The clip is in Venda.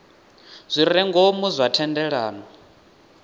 zwi re ngomu zwa thendelano